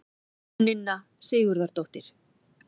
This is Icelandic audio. Jóninna Sigurðardóttir.